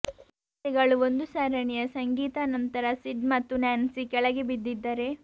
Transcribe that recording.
ವಿಫಲತೆಗಳು ಒಂದು ಸರಣಿಯ ಸಂಗೀತ ನಂತರ ಸಿಡ್ ಮತ್ತು ನ್ಯಾನ್ಸಿ ಕೆಳಗೆ ಬಿದ್ದಿದ್ದರೆ